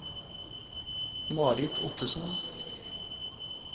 Marit Ottesen